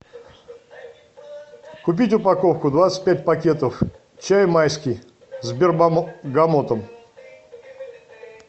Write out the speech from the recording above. купить упаковку двадцать пять пакетов чай майский с бергамотом